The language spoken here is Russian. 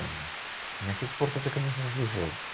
на счёт спорта ты конечно услышала